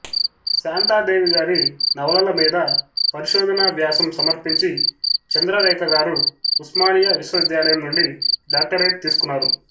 శాంతా దేవి గారి నవలలమీద పరిశోధనా వ్యాసం సమర్పించి చంద్ర రేఖ గారు ఉస్మానియా విశ్వవిద్యాలయం నుండి డాక్టరేట్ తీస్కున్నారు